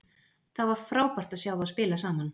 Það var frábært að sjá þá spila saman.